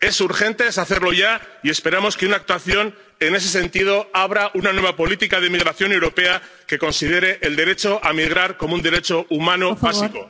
Es urgente, hay que hacerlo ya, y esperemos que una actuación en ese sentido abra una nueva política de migración europea que considere el derecho a migrar como un derecho humano básico.